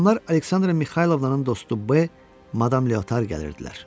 Axşamlar Aleksandra Mixaylovnanın dostu B, Madam Leotar gəlirdilər.